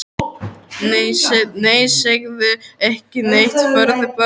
Nei, segðu ekki neitt, farðu bara.